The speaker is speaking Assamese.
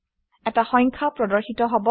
এটা সংখ্যা প্ৰদৰ্শিত হব